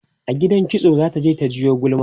a gidan maikitso zata je ta jiwo gulma